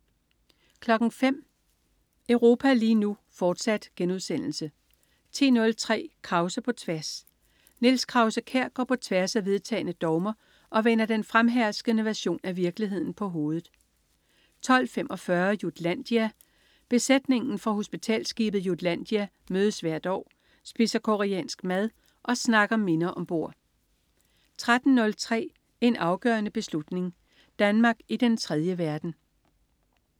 05.00 Europa lige nu, fortsat* 10.03 Krause på tværs. Niels Krause-Kjær går på tværs af vedtagne dogmer og vender den fremherskende version af virkeligheden på hovedet 12.45 Jutlandia^.Besætningen fra hospitalsskibet Jutlandia mødes hvert år, spiser koreansk mad og snakker minder om bord 13.03 En afgørende beslutning. Danmark i den tredje verden